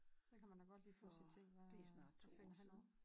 Så kan man da godt lide pludselig tænke hvad hvad finder han på